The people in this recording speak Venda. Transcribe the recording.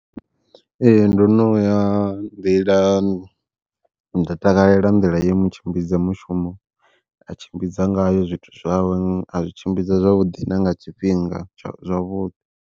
Ee ndo no ya nda takalela nḓila ye mu tshimbidza mushumo a tshimbidza ngayo zwithu zwawe, a zwi tshimbidza zwavhuḓi na nga tshifhinga tsha zwavhuḓi.